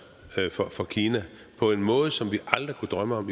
for kina på en måde som vi aldrig kunne drømme om at